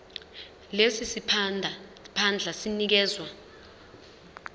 lesi siphandla sinikezwa